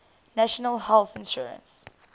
national health insurance